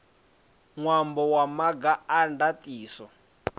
ṅwambo wa maga a ndaṱiso